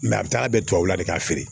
a bɛ taa bɛn tubabula de k'a feere